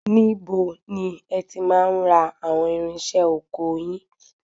Níbo ni ẹ ti máa ń ra àwọn irinṣẹ́ ọkọ yin?